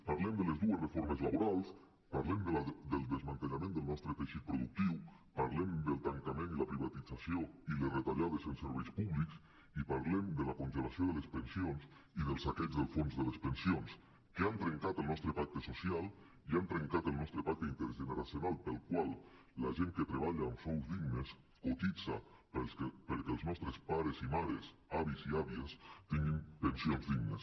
parlem de les dues reformes laborals parlem del desmantellament del nostre teixit productiu parlem del tancament i la privatització i les retallades en serveis públics i parlem de la congelació de les pensions i del saqueig dels fons de les pensions que han trencat el nostre pacte social i han trencat el nostre pacte intergeneracional pel qual la gent que treballa amb sous dignes cotitza perquè els nostres pares i mares avis i àvies tinguin pensions dignes